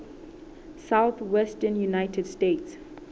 southwestern united states